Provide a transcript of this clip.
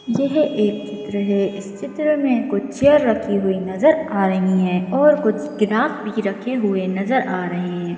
यह एक चित्र है इस चित्र में कुछ चेयर रखी हुई नजर आ रही हैं और कुछ गिलास भी रखे हुए नजर आ रहे हैं।